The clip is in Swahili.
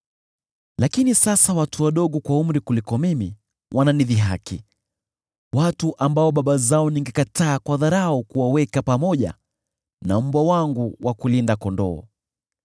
“Lakini sasa watu wadogo kwa umri kuniliko wananidhihaki, watu ambao baba zao ningekataa kwa dharau kuwaweka pamoja na mbwa wangu wa kulinda kondoo.